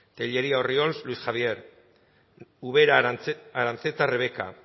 tellería orriols luis javier ubera aranzeta rebeka